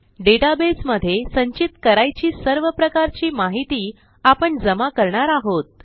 database मध्ये संचित करायची सर्व प्रकारची माहिती आपण जमा करणार आहोत